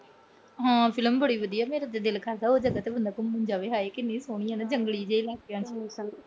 ਹਾਂ, film ਬੜੀ ਵਧੀਆ। ਮੇਰਾ ਤਾਂ ਦਿਲ ਕਰਦਾ ਉਹ ਜਗਾ ਤੇ ਬੰਦਾ ਘੁੰਮਣ ਜਾਵੇ। ਹਾਏ ਕਿੰਨੀ ਸੋਹਣੀ ਆ ਨਾ ਜੰਗਲੀ ਜੇ ਇਲਾਕਿਆਂ ਚ।